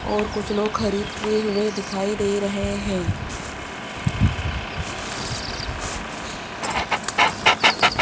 और कुछ लोग खरीदते हुए दिखाई दे रहे हैं।